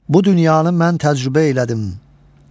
Bu dünyanı mən təcrübə elədim.